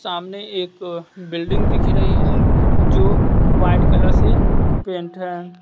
सामने एक बिल्डिंग दिख रही है जो वाएट कलर से पेंट है।